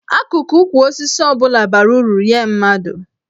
Akụkụ ukwu osisi ọ bụla bara uru nye mmadụ.